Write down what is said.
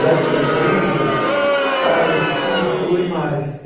Já escrevendo, sai assim, flui mais.